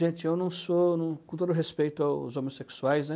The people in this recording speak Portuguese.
Gente, eu não sou, eu não, com todo respeito aos homossexuais, né?